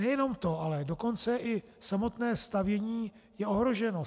Nejenom to, ale dokonce i samotné stavění je ohroženo.